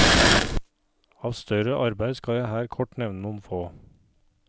Av større arbeid skal jeg her kort nevne noen få.